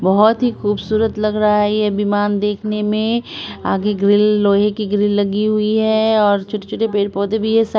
बहोत ही खूबसूरत लग रहा हे ये विमान देखने में आगे ग्री लोहे की ग्रिल लगी हुए हे ओर छूटे छूटे पेड़-पौधे भी है सा--